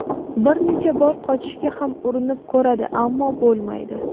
Bir necha bor qochishga ham urinib ko‘radi, ammo bo‘lmaydi.